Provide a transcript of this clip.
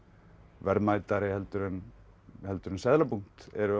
verðmætari heldur en heldur en seðlabúnt eru